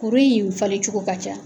Kuru in falen cogo ka ca